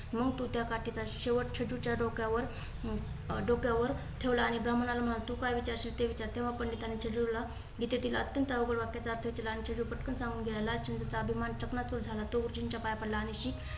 मग तो त्या काठी चा शेवट छेडूच्या डोक्यावर डोक्यावर ठेवला आणि ब्राह्मणला म्हणाला तू काय विचारशील ते विचार? तेव्हा पंडितांची छेडूला गीतेतील अत्यंत अवघड वाक्याचा आर्थ विचारला. आणि छेडू पटकन सांगून गेला. लाल चंदचा अभिमान चकणा चूर झाला. तो गुरुजींच्या पाया पडला आणि श्री